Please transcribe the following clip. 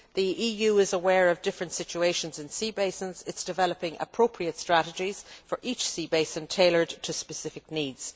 The EU is aware of different situations in sea basins and is developing appropriate strategies for each sea basin, tailored to specific needs.